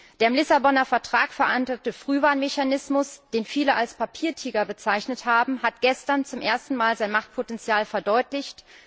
Der im Vertrag von Lissabon verankerte Frühwarnmechanismus, den viele als Papiertiger bezeichnet haben, hat gestern zum ersten Mal sein Machtpotenzial verdeutlicht.